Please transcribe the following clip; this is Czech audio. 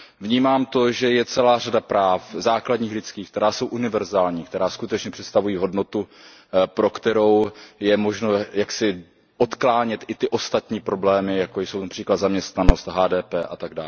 Vnímám to, že je celá řada práv základních lidských, která jsou univerzální, která skutečně představují hodnotu, pro kterou je možno jaksi odklánět i ty ostatní problémy, jako jsou například zaměstnanost, HDP atd.